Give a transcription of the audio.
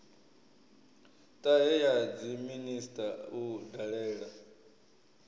ṱahe ya dziminisiṱa u dalela